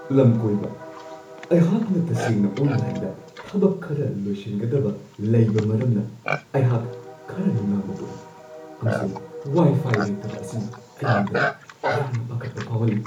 ꯂꯝꯀꯣꯏꯕ: "ꯑꯩꯍꯥꯛꯅ ꯇꯁꯦꯡꯅ ꯑꯣꯟꯂꯥꯏꯟꯗ ꯊꯕꯛ ꯈꯔ ꯂꯣꯏꯁꯤꯟꯒꯗꯕ ꯂꯩꯕ ꯃꯔꯝꯅ ꯑꯩꯍꯥꯛ ꯈꯔ ꯅꯨꯡꯅꯥꯡꯕ ꯄꯣꯛꯏ, ꯑꯃꯁꯨꯡ ꯋꯥꯏ-ꯐꯥꯏ ꯂꯩꯇꯕ ꯑꯁꯤꯅ ꯑꯩꯉꯣꯟꯗ ꯌꯥꯝꯅ ꯄꯥꯈꯠꯄ ꯐꯥꯎꯍꯜꯂꯤ ꯫"